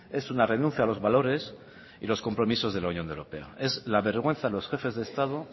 es una renuncia a los valores y a los compromisos de la unión europea es la vergüenza de los jefes de estado